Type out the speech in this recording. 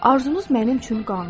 Arzunuz mənim üçün qanundur.